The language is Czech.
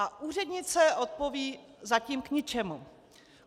A úřednice odpoví: "Zatím k ničemu".